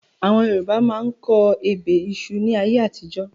Àwọn Yorùbá máa ń kọ ebè ìṣù ni ayé àtijọ́